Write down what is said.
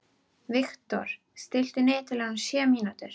Viktor, stilltu niðurteljara á sjö mínútur.